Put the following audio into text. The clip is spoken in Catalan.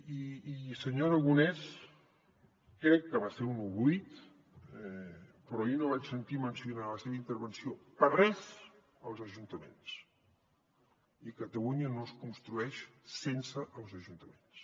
i senyor aragonès crec que va ser un oblit però ahir no vaig sentir mencionar en la seva intervenció per a res els ajuntaments i catalunya no es construeix sense els ajuntaments